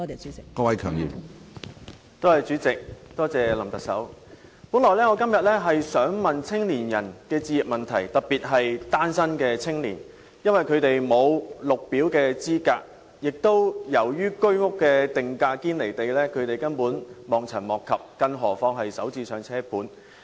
主席，林特首，我本來今天想問青年人的置業問題，特別是單身的青年，因為他們沒有綠表資格，亦由於居屋定價"堅離地"，他們根本望塵莫及，更何況是"首置上車盤"。